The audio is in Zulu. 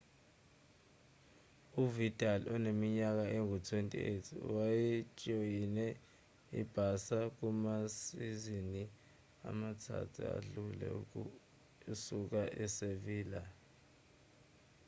uvidal oneminyaka engu-28 wayejoyine i-barça kumasizini amathathu adlule esuka e-sevilla